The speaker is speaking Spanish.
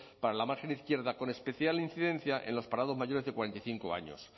para la margen izquierda con especial incidencia en los parados mayores de cuarenta y cinco años